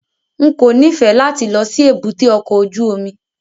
N kò nífẹ̀ẹ́ láti lọ sí èbúté ọkọ̀ ojú omi.